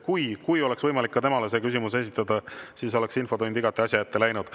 Kui oleks võimalik ka temale küsimus esitada, siis oleks infotund igati asja ette läinud.